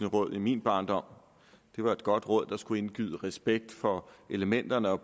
råd i min barndom det var et godt råd der skulle indgyde respekt for elementerne og